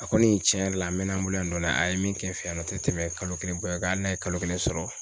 A kɔni tiɲɛ yɛrɛ la n mɛna n bolo yan nɔ a ye min kɛ n fɛ yan nɔ tɛ tɛmɛ kalo kelen bɔ hali n'a ye kalo kelen sɔrɔ.